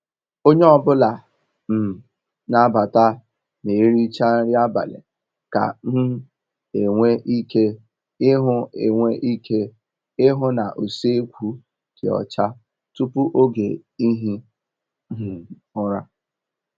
Onye ọ bụla um n'abata ma ericha nri abalị ka um enwe ike ihu enwe ike ihu na usekwu dị ọcha tupu oge ihi um ụra.